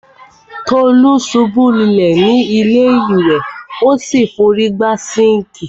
Tolú ṣubú lulẹ̀ ni ilé ìwẹ̀,o fi órí gbá sinkii.